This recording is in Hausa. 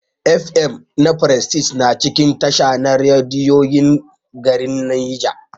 F.M na prestige na cikin tasha na rediyon garin Nija.